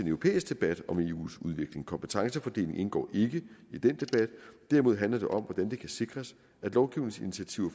europæisk debat om eus udvikling kompetencefordeling indgår ikke i den debat derimod handler det om hvordan det kan sikres at lovgivningsinitiativer